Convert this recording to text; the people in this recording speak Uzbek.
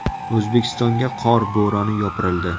O‘zbekistonga qor bo‘roni yopirildi.